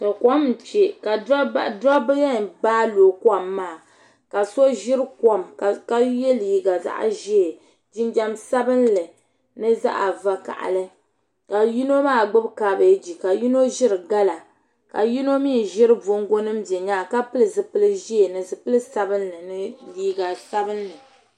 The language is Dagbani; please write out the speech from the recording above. ̈Tɔ, kom n-kpe ka dobba yɛn baai looi kom maa ka so ʒiri kom ka ye liiga zaɣ' ʒee jinjam sabinli ni zaɣ' vakahili ka yino maa gbubi kaabeegi ka yino maa ʒiri gala ka yino mi ʒiri bongo nima be nyaaga ka pili zupil' ʒee ni zupil' sabinli ni liiga sabinli.